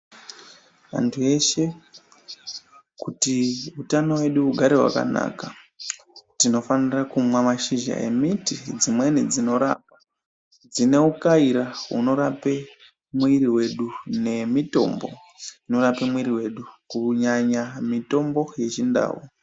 Antu eshe kuti utano hwedu hugare hwakanaka tinofanira kumwa mashizha emiti dzimweni dzinorapa dzinoukaira, dzinorape mwiri wedu nemitombo dzinorape mwiri yedu kunyanya mitombo yeChindau.